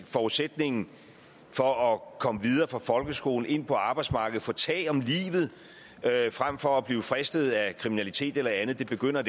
forudsætningen for at komme videre fra folkeskolen og ind på arbejdsmarkedet og få tag om livet frem for at blive fristet af kriminalitet eller andet det begynder